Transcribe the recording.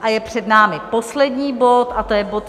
A je před námi poslední bod, a to je bod